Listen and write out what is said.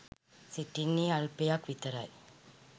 සිටින්නේ අල්පයක් විතරයි.